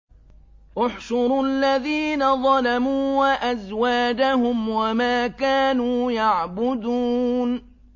۞ احْشُرُوا الَّذِينَ ظَلَمُوا وَأَزْوَاجَهُمْ وَمَا كَانُوا يَعْبُدُونَ